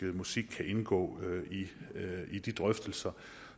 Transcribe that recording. musik kan indgå i de drøftelser